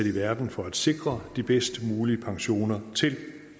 i verden for at sikre de bedst mulige pensioner til